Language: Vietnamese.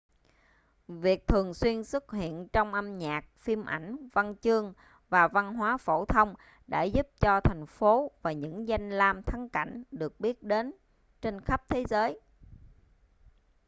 việc thường xuyên xuất hiện trong âm nhạc phim ảnh văn chương và văn hóa phổ thông đã giúp cho thành phố và những danh lam thắng cảnh được biết đến trên khắp thế giới